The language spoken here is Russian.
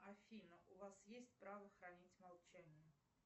афина у вас есть право хранить молчание